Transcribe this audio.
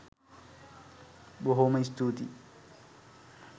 බොහොම ස්තූතියි